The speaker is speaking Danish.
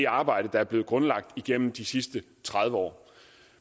arbejde der er blevet grundlagt gennem de sidste tredive år